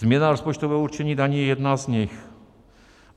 Změna rozpočtového určení daní je jedna z nich.